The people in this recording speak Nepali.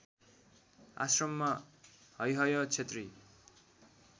आश्रममा हैहय क्षेत्री